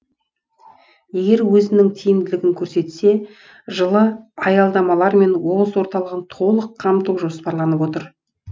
егер өзінің тиімділігін көрсетсе жылы аялдамалармен облыс орталығын толық қамту жоспарланып отыр